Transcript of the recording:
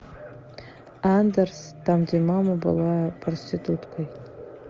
андерс там где мама была проституткой